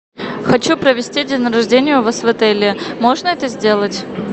хочу провести день рождения у вас в отеле можно это сделать